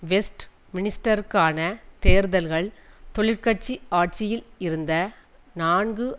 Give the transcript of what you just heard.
west மினிஸ்டருக்கான தேர்தல்கள் தொழிற் கட்சி ஆட்சியில் இருந்த நான்கு